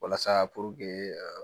Walasa puruke